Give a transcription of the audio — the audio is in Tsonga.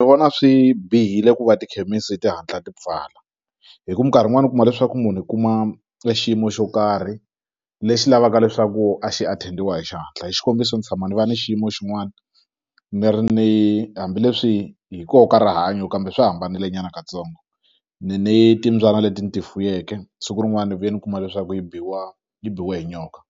Ni vona swi bihile ku va tikhemisi ti hatla ti pfala hi ku minkarhi yin'wani u kuma leswaku munhu i kuma e xiyimo xo karhi lexi lavaka leswaku a xi attend-iwa hi xihatla hi xikombiso ni tshama ni va ni xiyimo xin'wani ni ri ni hambileswi hi koho ka rihanyo kambe swi hambanile nyana katsongo ni ni timbyana leti ni ti fuyeke siku rin'wana ni vuye ni kuma leswaku yi biwa yi biwe hi nyoka